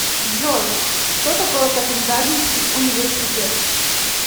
джой что такое копенгагенский университет